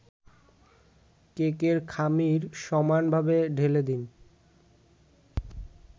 কেকের খামির সমানভাবে ঢেলে দিন